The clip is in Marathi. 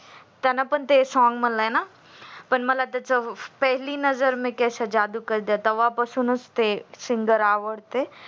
त्यान पण ते song म्हणलय ना पण मला त्याची पेहेली नजर मे कैसी जादू कर दिया तेव्हा पासूनच ते singer आवडते